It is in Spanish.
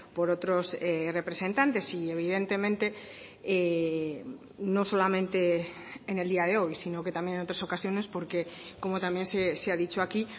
por otros representantes y evidentemente no solamente en el día de hoy sino que también en otras ocasiones porque como también se ha dicho aquí